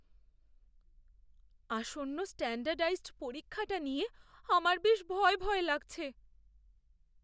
আসন্ন স্ট্যান্ডার্ডাইজড পরীক্ষাটা নিয়ে আমার বেশ ভয় ভয় লাগছে।